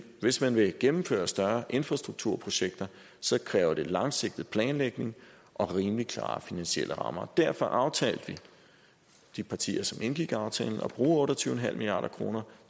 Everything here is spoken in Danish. hvis man vil gennemføre større infrastrukturprojekter kræver det langsigtet planlægning og rimelig klare finansielle rammer derfor aftalte vi de partier der indgik aftalen at bruge otte og tyve milliard kroner